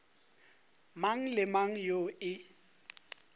mang le mang yoo e